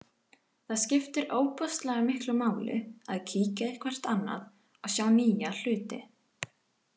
Það skiptir ofboðslega miklu máli að kíkja eitthvert annað og sjá nýja hluti.